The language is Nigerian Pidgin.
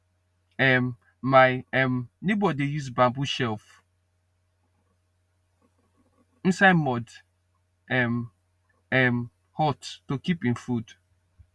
um my um neighbour dey use bamboo shelf inside mud um um hut to keep him food